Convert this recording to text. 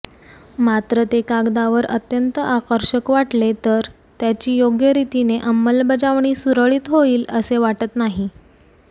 मात्र ते कागदावर अत्यंत आकर्षक वाटले तर त्याची योग्यरीतीने अंमलबजावणी सुरळीत होईल असे वाटत नाही